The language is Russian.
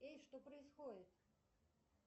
эй что происходит